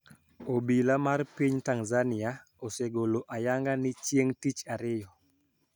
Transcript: Obila mar piny Tanzania osegolo ayanga ni chieng` tich Ariyo